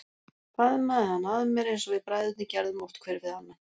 Faðmaði hann að mér eins og við bræðurnir gerðum oft hver við annan.